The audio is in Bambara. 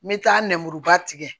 N bɛ taa nɛmuruba tigɛ